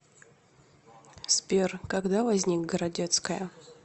сбер когда возник городецкая